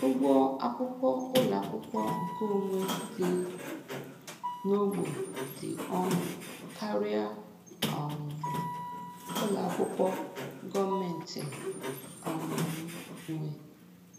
Ụgwọ akwụkwọ ụlọ akwụkwọ nkeonwe dị n'ogbe dị ọnụ karịa um ụlọakwụkwọ gọọmentị um nwe